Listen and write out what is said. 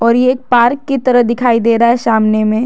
और ये एक पार्क की तरह दिखाई दे रहा है सामने में --